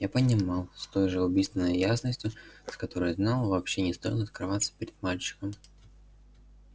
я понимал с той же убийственной ясностью с которой знал вообще не стоило открываться перед мальчиком